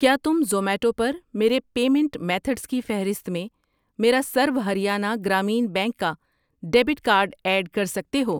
کیا تم زوماٹو پرمیرے پیمینٹ میتھڈز کی فہرست میں میرا سرو ہریانہ گرامین بینک کا ڈیبٹ کارڈ ایڈ کر سکتے ہو؟